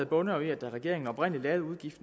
bunder jo i at da regeringen oprindelig lavede